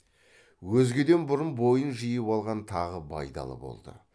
өзгеден бұрын бойын жиып алған тағы байдалы болды